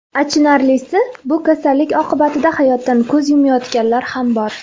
Achinarlisi, bu kasallik oqibatida hayotdan ko‘z yumayotganlar ham bor.